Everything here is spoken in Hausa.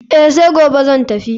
Eh, sai gobe zan tafi.